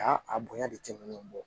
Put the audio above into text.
Aa a bonya de tɛmɛnen kɔ